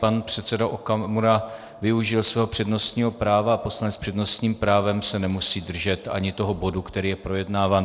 Pan předseda Okamura využil svého přednostního práva a poslanec s přednostním právem se nemusí držet ani toho bodu, který je projednáván.